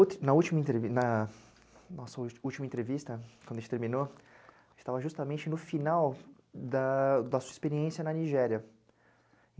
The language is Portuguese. última, na nossa última entrevista, quando a gente terminou, a gente estava justamente no final da sua experiência na Nigéria.